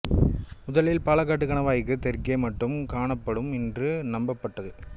முதலில் பாலக்காட்டு கணவாய்க்கு தெற்கே மட்டும் காணப்படும் என்று நம்பப்பட்டது